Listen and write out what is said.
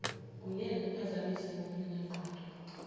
kungeke kuphazamise ngokungenangqondo